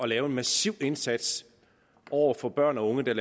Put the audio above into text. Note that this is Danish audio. lave en massiv indsats over for børn og unge der